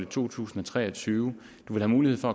to tusind og tre og tyve har mulighed for